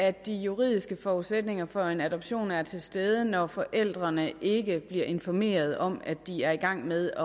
at de juridiske forudsætninger for en adoption er til stede når forældrene ikke bliver informeret om at de er i gang med at